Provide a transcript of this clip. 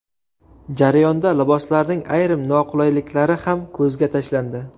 Jarayonda liboslarning ayrim noqulayliklari ham ko‘zga tashlandi.